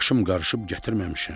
Başım qarışıb gətirməmişəm.